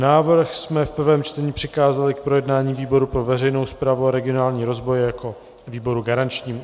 Návrh jsme v prvém čtení přikázali k projednání výboru pro veřejnou správu a regionální rozvoj jako výboru garančnímu.